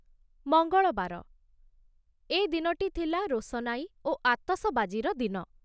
ମଙ୍ଗଳବାର, ଏ ଦିନଟି ଥିଲା ରୋଶନାଇ ଓ ଆତସବାଜିର ଦିନ।